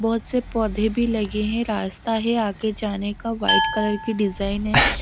बहुत से पौधे भी लगे हैं रास्ता है आगे जाने का वाइट कलर की डिजाइन है।